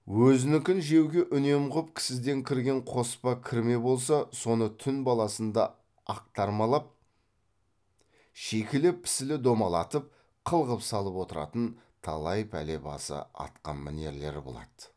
өзінікін жеуге үнем қып кісіден кірген қоспа кірме болса соны түн баласында ақтармалап шикілі пісілі домалатып қылғып салып отыратын талай пәле басы атқа мінерлер болады